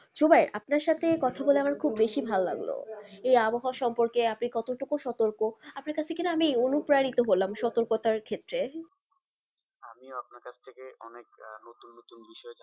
জুবাই আপনার সাথে কথা বলে আমার খুব বেশি ভালোলাগলো এই আবহাওয়া সম্পর্কে আপনি কতটুকু সতর্ক আপনার কাছে কি না আমি অনুপ্রাণিত হলাম সতর্কতার ক্ষেত্রে আমিও আপনার কাছ থেকে অনেক আহ নতুন নতুন বিষয় জান,